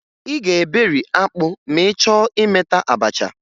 Ị ga-eberi akpụ ma ị chọọ imeta abacha